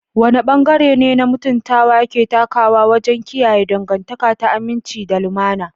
Wane bangare ne mutuntawa ke takawa wajen kiyaye dangantaka ta aminci da lumana?